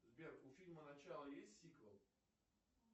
сбер у фильма начало есть сиквел